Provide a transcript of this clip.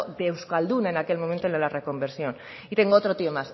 de euskalduna en aquel momento en la reconversión y tengo otro tío